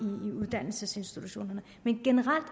uddannelsesinstitutionerne men generelt